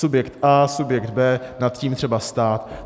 Subjekt A, subjekt B, nad tím třeba stát.